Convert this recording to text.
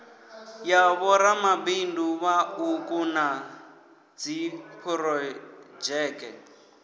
ya vhoramabindu vhauku na dziphurodzheke